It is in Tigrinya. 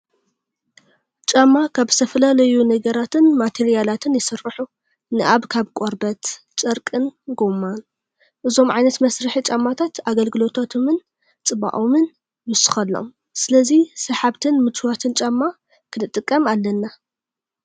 ጫማ ካብ ዝተፈላለዩ ነገራትን ማቴርያላትን ይስርሑ። ንኣብ ካብ ቆርበት፣ ጨርቂኝ ጎማን። እዞም ዓይነት መስርሒ ጫማታት ንኣገልግሎቶምን ፅባቐቆምን ይውስኽሎም። ስለዚ ሰሓብትን ምችዋትን ጫማ ክንጥቀም ኣለን።